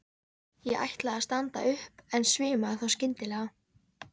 Ég ætlaði að standa upp en svimaði þá skyndilega.